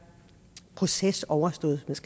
proces overstået hvis